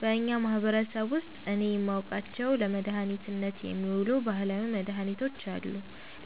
በእኛ ማህበረሰብ ውስጥ እኔ የማውቃቸው ለመድኃኒትነት የሚውሉ ባህላዊ መድኃኒቶች አሉ።